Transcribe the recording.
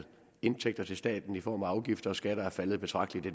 indtægter til staten i form af afgifter og skatter er faldet betragteligt og